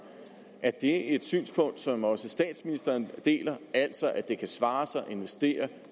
er det et synspunkt som også statsministeren deler altså at det kan svare sig at investere